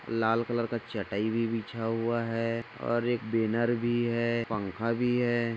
लाल colour का चटाई भी बिछा हुआ हैं और एक बैनर भी हैं पंखा भी हैं।